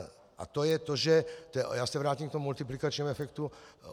A to je to - a já se vrátím k tomu multiplikačnímu efektu.